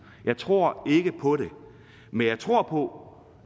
jeg tror ikke på det men jeg tror på